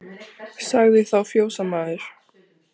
Sagði þá fjósamaður